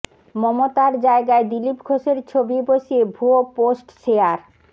মমতার জায়গায় দিলীপ ঘোষের ছবি বসিয়ে ভুয়ো পোস্ট শেয়ার